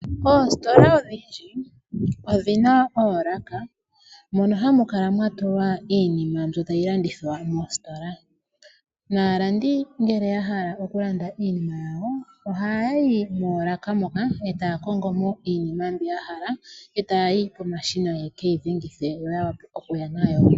Oostola odhindji odhina oolaka mono hamu kala mwa tulwa iinima mbyono tayi landithwa mostola. Aalandi ngele ya hala okulanda iinima yawo moostola ohaya yi moolaka moka e taya kongo mo iinima mbyono yahala, e taya yi pomashina ye ke yi dhengithe yo ya wape kuya nayo.